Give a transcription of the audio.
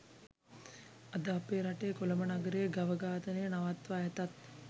අද අප රටේ කොළඹ නගරයේ ගව ඝාතනය නවත්වා ඇතත්